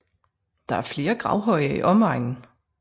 Der er flere gravhøje i omegnen